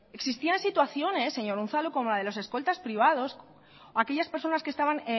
existían situaciones señor unzalu como la de los escoltas privados aquellas personas que estaban